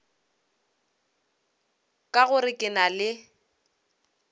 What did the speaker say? ka gore ke na le